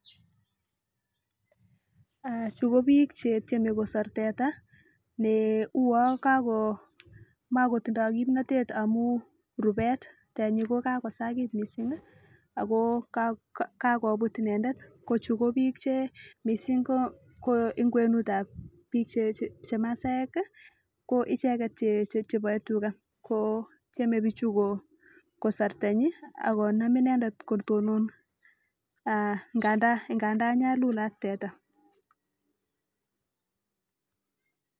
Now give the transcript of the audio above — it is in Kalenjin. Eeh chuu ko bik chetyeme kosir teta ne uwon Kako mokotindo kimnotet amun rubet, tenyi ko kakosakit missingi Ako kakakoput inendet ko chuu ko bik che missing ko en kwenutab bik chemasaek kii ko icheket cheboe tugaa ko tyeme bichu ko kosor tenyi ak Konam inendet kotomon aah ngandan nyalulat teta.